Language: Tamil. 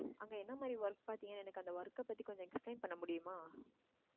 அங்க என்ன மாதிரி work பாத்தீங்கன்னா எனக்கு அந்த work அ பத்தி கொஞ்சம் explain பண்ண முடியுமா